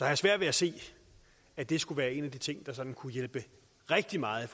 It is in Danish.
jeg svært ved at se at det skulle være en af de ting der sådan kunne hjælpe rigtig meget i